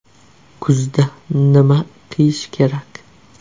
Kuzda nima kiyish kerak?